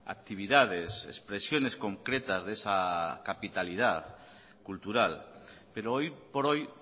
actividades expresiones concretas de esa capitalidad cultural pero hoy por hoy